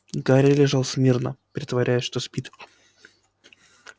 гарри лежал смирно притворяясь что спит